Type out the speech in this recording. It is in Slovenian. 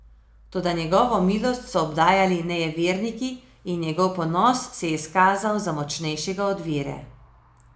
Toda njegovo milost so obdajali nejeverniki in njegov ponos se je izkazal za močnejšega od vere.